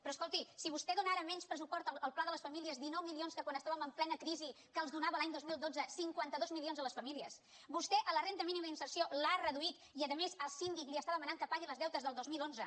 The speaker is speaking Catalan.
però escolti si vostè dóna ara menys pressupost al pla de les famílies dinou milions que quan estàvem en plena crisi que els donava l’any dos mil dotze cinquanta dos milions a les famílies vostè la renda mínima d’inserció l’ha reduït i a més el síndic li està demanant que pagui els deutes del dos mil onze